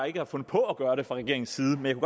ikke har fundet på at gøre det fra regeringens side men